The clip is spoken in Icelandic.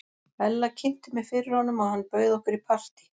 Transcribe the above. Ella kynnti mig fyrir honum og hann bauð okkur í partí.